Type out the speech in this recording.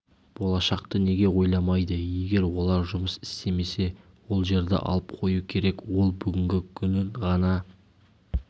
болашақты неге ойламайды егер олар жұмыс істемесе ол жерді алып қою керек ол бүгінгі күнін ғана